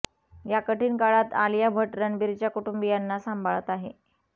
या कठीण काळात आलिया भट्ट रणबीरच्या कुटुंबियांना सांभाळत आहे